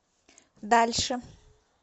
дальше